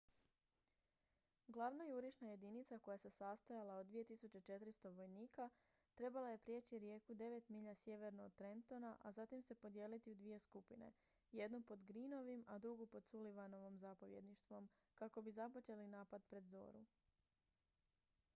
glavna jurišna jedinica koja se sastojala od 2400 vojnika trebala je prijeći rijeku devet milja sjeverno od trentona a zatim se podijeliti u dvije skupine jednu pod greenovim a drugu pod sullivanovim zapovjedništvom kako bi započeli napad pred zoru